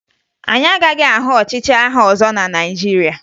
Anyị agaghị ahụ ọchịchị agha ọzọ na Naịjirịa